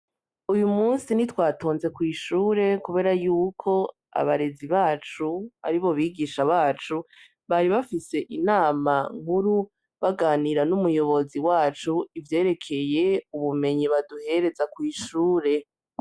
Uyumusi ntitwatonze kwishure kubera yuko abarezi bacu aribo bigisha bacu baribafise inama nkuru baganira numuyobozi wacu ivyerekeye ubumenyi baduhereza kwishure